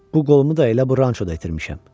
Bu qolumu da elə bu rançoda itirmişəm.